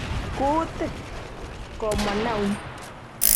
"Kuutik"komwa Naum.